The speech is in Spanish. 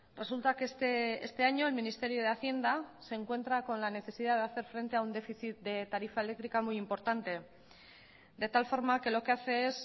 resulta que este año el ministerio de hacienda se encuentra con la necesidad de hacer frente a un déficit de tarifa eléctrica muy importante de tal forma que lo que hace es